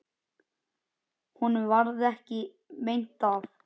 Honum varð ekki meint af.